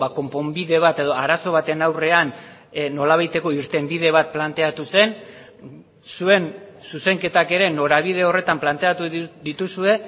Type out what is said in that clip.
konponbide bat edo arazo baten aurrean nolabaiteko irtenbide bat planteatu zen zuen zuzenketak ere norabide horretan planteatu dituzue